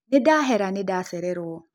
Nĩndahera nĩndacererwo.